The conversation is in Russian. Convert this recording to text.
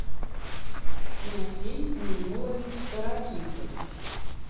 тимофей миннулович караченцев